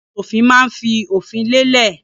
Aṣòfin máa ń fi òfin lélẹ̀.